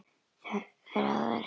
Það ertu.